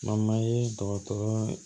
Mama ye dɔgɔtɔrɔ